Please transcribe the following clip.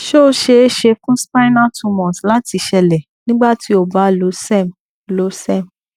se o ṣee ṣe fun spinal tumors láti ṣeélẹ nígbà tí o ba lo serm lo serm